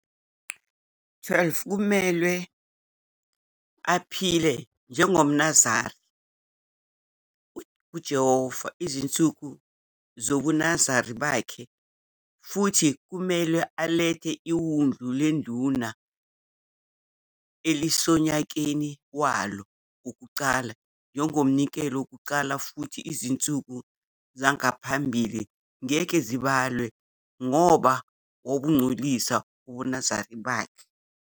12 Kumelwe aphile njengomNaziri kuJehova izinsuku zobuNaziri bakhe, futhi kumelwe alethe iwundlu leduna elisonyakeni walo wokuqala njengomnikelo wecala, futhi izinsuku zangaphambili ngeke zibalwe ngoba wabungcolisa ubuNaziri bakhe.